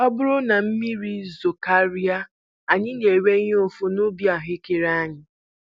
Ọ bụrụ na mmiri zokarịa, anyị na-enwe ihe mfu n'ubi ahụekere anyị